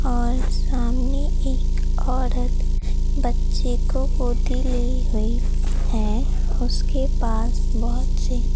और सामने एक औरत बच्चे को गोदी ली हुई है उसके पास बहुत सी--